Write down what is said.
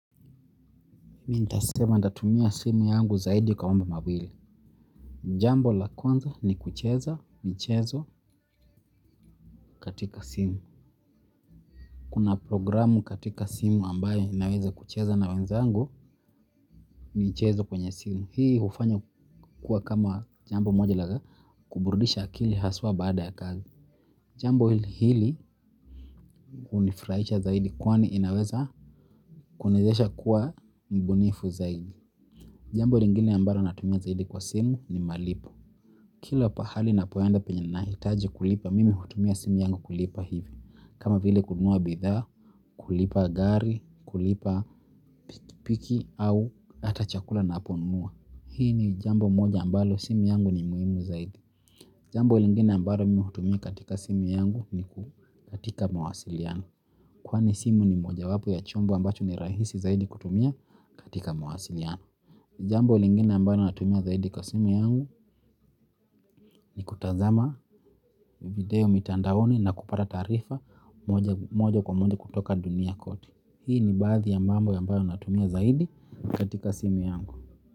Mi ntasema ntatumia simu yangu zaidi kwa mambo mawili. Jambo la kwanza ni kucheza, michezo katika simu. Kuna programu katika simu ambayo inaweza kucheza na wenzangu, michezo kwenye simu. Hii hufanya kuwa kama jambo moja la kuburidisha akili haswa baada ya kazi. Jambo hili unifurahisha zaidi kwani inaweza kuniezesha kuwa mbunifu zaidi. Jambo lingine ambalo natumia zaidi kwa simu ni malipo. Kila pahali napoenda penye nahitaji kulipa mimi hutumia simu yangu kulipa hivi. Kama vile kununua bidhaa, kulipa gari, kulipa piki piki au hata chakula naponunua. Hii ni jambo moja ambalo simu yangu ni muhimu zaidi. Jambo lingine ambapo mimi hutumia katika simu yangu ni katika mawasiliano. Kwani simu ni mojawapo ya chombo ambacho ni rahisi zaidi kutumia katika mawasiliano. Jambo lingine ambalo natumia zaidi kwa simu yangu ni kutazama video mitandaoni na kupata taarifa moja kwa moja kutoka dunia kote. Hii ni baadhi ya mambo ambayo natumia zaidi katika simu yangu.